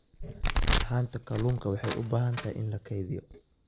Haanta kalluunka waxa ay u baahan tahay in la kaydiyo.